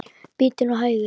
Bíddu nú hægur.